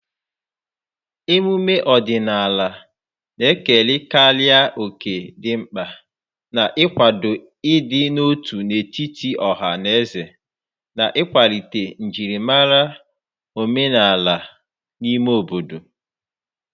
emume ọdịnala na-ekerekarị òkè dị mkpa n'ịkwado ịdị n'otu n'etiti ọha na eze na ịkwalite njirimara omenala n'ime obodo.